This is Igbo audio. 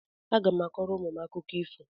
Agá m akọrọ ụmụ m akụkọ ifo